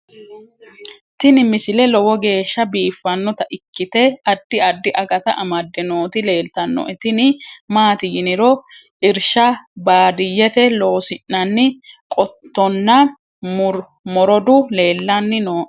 tini misile lowo geeshsha biiffannota ikkite addi addi akata amadde nooti leeltannoe tini maati yiniro irshsha baadiyete loosi'nanni qottonna morodu leellanni nooe